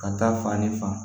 Ka taa fani fan